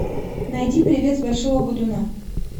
найди привет с большого бодуна